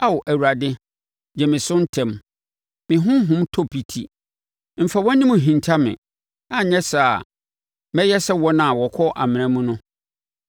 Ao Awurade, gye me so ntɛm; me honhom tɔ piti. Mfa wʼanim nhinta me anyɛ saa a, mɛyɛ sɛ wɔn a wɔkɔ amena mu no.